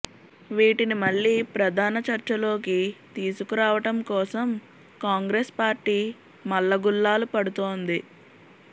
వీటిని మళ్లీ ప్రధాన చర్చలోకి తీసుకురావటం కోసం కాంగ్రెస్ పార్టీ మల్లగుల్లాలు పడుతోంది